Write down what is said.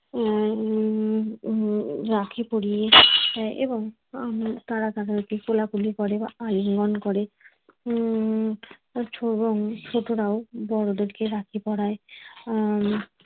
উম রাখি পরিয়ে এবং তারা তাদেরকে কোলাকুলি করে বা আলিঙ্গন করে উম ছোট ছোটরাও বড়দেরকে রাখি পড়ায়। অ্যাঁ